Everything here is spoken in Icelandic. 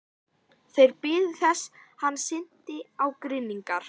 Þeir biðu þess hann synti á grynningar.